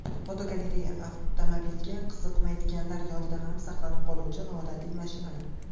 Fotogalereya: Avtomobilga qiziqmaydiganlar yodida ham saqlanib qoluvchi noodatiy mashinalar.